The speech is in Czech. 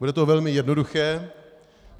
Bude to velmi jednoduché.